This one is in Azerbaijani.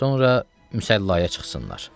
Sonra müsəllaya çıxsınlar.